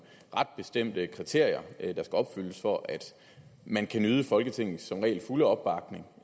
ret bestemte kriterier der skal opfyldes for at man kan nyde folketingets som regel fulde opbakning